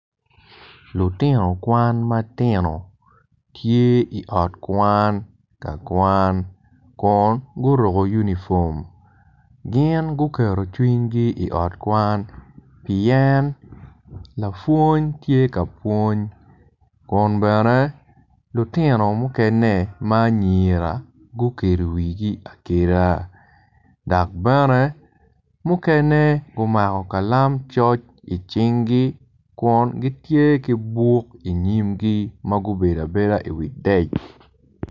Lutino kwan matino tye i ot kwan kakwan kun guruko unifom gin guketo cwingi i ot kwan pien lapwony tye ka pwony kun bene lutino mukene ma anyira gukedo wigi akeda dok bene mukene gumako kalam coc i cingi kun gitye ki buk inyimgi magubedo abeda i wi deck